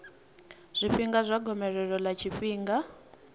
zwifhinga zwa gomelelo ḽa tshifhinga